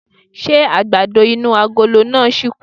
Ṣé àgbàdo inú agolo náà ṣìkù?